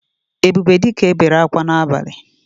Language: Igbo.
Ebubedika bere akwa n’abali